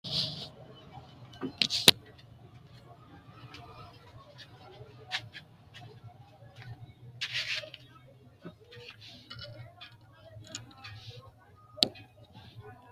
Kuni mannich coyiranina hasawani noota la'nemo woyi huwantemo isino angasira birrete yinaniha boro boresirate horonsinemota angasira amade noota la'a dandineemo?